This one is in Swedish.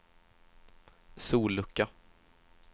sollucka